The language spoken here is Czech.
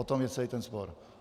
O tom je celý ten spor.